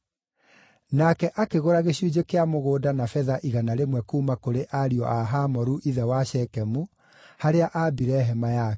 Nake akĩgũra gĩcunjĩ kĩa mũgũnda na betha igana rĩmwe kuuma kũrĩ ariũ a Hamoru ithe wa Shekemu, harĩa aambire hema yake.